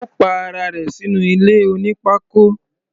Ó pa ara rẹ̀ sínú ilé oní pákó.